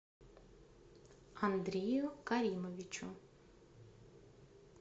андрею каримовичу